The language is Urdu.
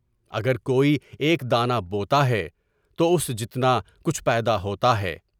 اگر کوئی ایک دانہ بوتا ہے تو اس جتنا کچھ پیدا ہوتا ہے۔